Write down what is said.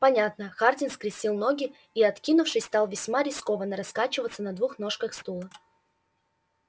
понятно хардин скрестил ноги и откинувшись стал весьма рискованно раскачиваться на двух ножках стула